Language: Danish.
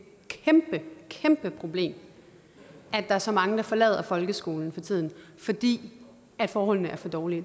kæmpe kæmpe problem at der er så mange der forlader folkeskolen for tiden fordi forholdene er for dårlige